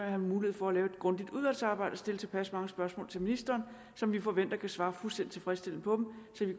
have mulighed for at lave et grundigt udvalgsarbejde og stille tilpas mange spørgsmål til ministeren som vi forventer kan svare fuldstændig tilfredsstillende på dem så vi